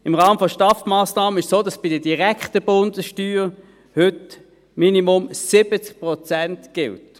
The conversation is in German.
– Im Rahmen der STAF-Massnahmen ist es so, dass heute bei der direkten Bundessteuer im Minimum 70 Prozent gelten.